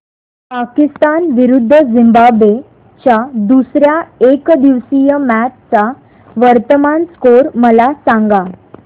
पाकिस्तान विरुद्ध झिम्बाब्वे च्या दुसर्या एकदिवसीय मॅच चा वर्तमान स्कोर मला सांगा